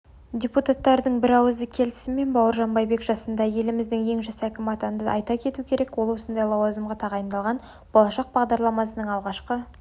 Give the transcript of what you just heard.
депуттардың бірауызды келісімімен бауыржан байбек жасында еліміздің ең жас әкімі атанды айта кету керек ол осындай лауазымға тағайындалған болашақ бағдарламасының алғашқы